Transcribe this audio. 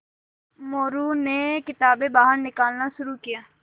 मोरू ने किताबें बाहर निकालना शुरू किया